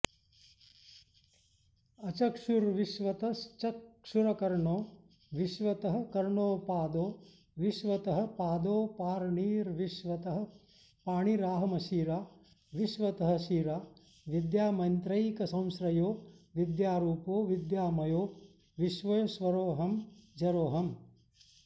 अचक्षुर्विश्वतश्चक्षुरकर्णो विश्वतः कर्णोऽपादो विश्वतःपादोऽपाणिर्विश्वतःपाणिराहमशिरा विश्वतःशिरा विद्यामन्त्रैकसंश्रयो विद्यारूपो विद्यामयो विश्वेश्वरोऽहमजरोऽहम्